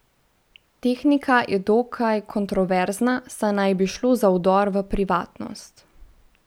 Tehnika je dokaj kontroverzna, saj naj bi šlo za vdor v privatnost.